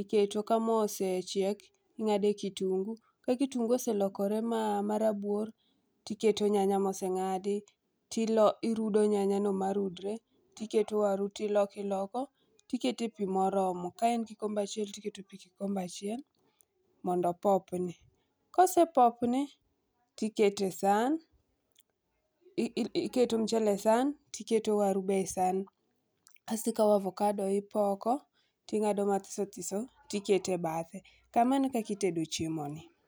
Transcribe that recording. iketo. Ka moo osechiek, ing'ade kitunguu, ka kitunguu oselokore marabuor tiketo nyanya moseng'adi tirudo nyanyano marudre ,tiketo waru tilokoiloko, tikete pii morormo. Ka en kikombe achiel, tiketo pii kikombe achiel mondo opopni. Kosepopni tikete sahan, iketo mchele e sahan tiketo waru be e sahan. Kasto ikawo avokado tipoko, ting'ado mathisothiso tikete bathe. Kamano e kaka itedo chiemoni.